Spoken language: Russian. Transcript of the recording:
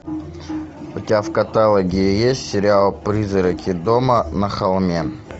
у тебя в каталоге есть сериал призраки дома на холме